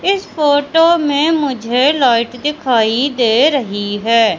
इस फोटो में मुझे लाइट दिखाई दे रही है।